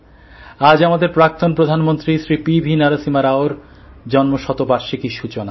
আজ আমাদের প্রাক্তন প্রধানমন্ত্রী শ্রী পি ভি নরসিমহা রাওর জন্মশতবার্ষিকীর সূচনা